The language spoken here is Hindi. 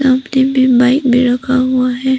मे बाइक भी रखा हुआ है।